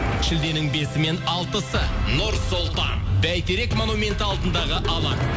шілденің бесі мен алтысы нұр сұлтан бәйтерек монументі алдындағы алаң